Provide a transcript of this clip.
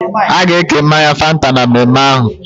Aga eke mmanya Fanta na mmemme ahum